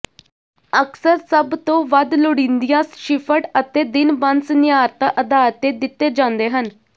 ਅਕਸਰ ਸਭ ਤੋਂ ਵੱਧ ਲੋੜੀਦੀਆਂ ਸ਼ਿਫਟ ਅਤੇ ਦਿਨ ਬੰਦ ਸੀਨੀਆਰਤਾ ਆਧਾਰ ਤੇ ਦਿੱਤੇ ਜਾਂਦੇ ਹਨ